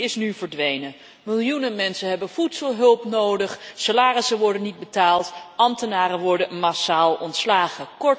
Die is nu verdwenen. Miljoenen mensen hebben voedselhulp nodig, salarissen worden niet betaald, ambtenaren worden massaal ontslagen.